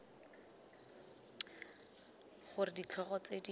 g r ditlhogo tse di